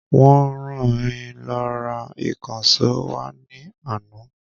Wọ́n ran mi lọ ra ìkànsó wá ní àná